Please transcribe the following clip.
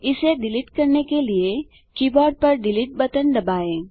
इसे डिलीट करने के लिए कीबोर्ड पर डिलीट बटन दबाएँ